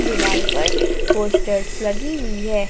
दीवाल पर पोस्टर्स लगी हुई है।